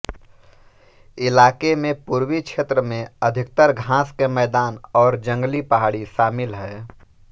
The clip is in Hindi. इलाके में पूर्वी क्षेत्र में अधिकतर घास के मैदान और जंगली पहाड़ी शामिल हैं